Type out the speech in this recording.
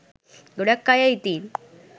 ගොඩක් අය ඉතින්